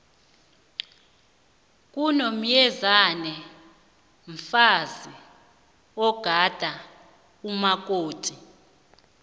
unomyezane mfazi ogada umakoti